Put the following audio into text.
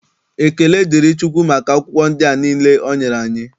Ekele dịrị Chukwu maka akwụkwọ ndị a niile o nyere anyị.